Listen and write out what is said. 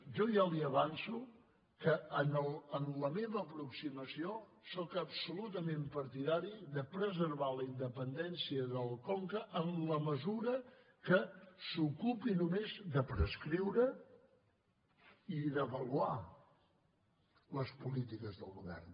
jo ja li avanço que en la meva aproximació sóc absolutament partidari de preservar la independència del conca en la mesura que s’ocupi només de prescriure i d’avaluar les polítiques del govern